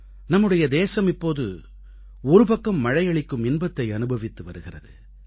நம்முடைய தேசம் இப்போது ஒரு பக்கம் மழையளிக்கும் இன்பத்தை அனுபவித்து வருகிறது